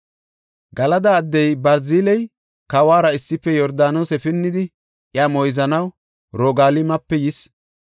Galada addey Barziley kawuwara issife Yordaanose pinnidi iya moyzanaw Roogalimape yis.